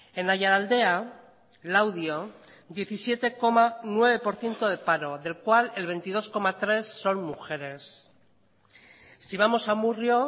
en aiaraldea laudio diecisiete coma nueve por ciento de paro del cual el veintidós coma tres son mujeres si vamos a amurrio